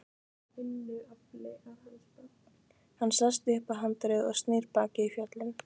Hann sest upp á handriðið og snýr baki í fjöllin.